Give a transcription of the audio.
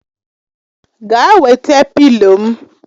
Gaa wete pịlo m!